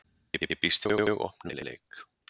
Ég býst við mjög opnum leik.